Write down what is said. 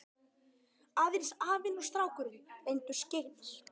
Aðeins afinn og strákurinn reyndust skyggnir.